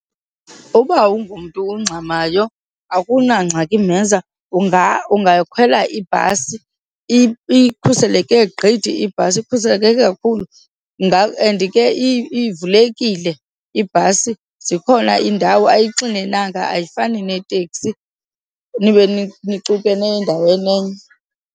Uba awungomntu ungxamayo akunangxaki mheza ungakhwela ibhasi. Ikhuseleke gqithi ibhasi, ikhuseleke kakhulu. And ke ivulekile ibhasi zikhona iindawo, ayixinenanga ayifani neteksi nibe nicukene endaweni enye.